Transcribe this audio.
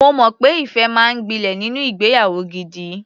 Mo mọ̀ pé ìfẹ́ máa ń gbilẹ̀ nínú ìgbeyàwó gidi.